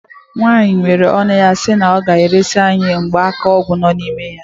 Nwaanyị meere ọnụ si na ọ ga-eresi anyị gba aka ọgwụ nọ n'ime ya.